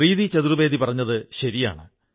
സർദാർ സാഹബ് അതാണ് ചെയ്തിരുന്നത്